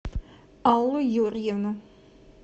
аллу юрьевну